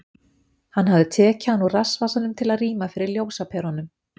Hann hafði tekið hann úr rassvasanum til að rýma fyrir ljósaperunum.